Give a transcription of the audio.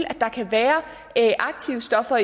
at der kan være aktive stoffer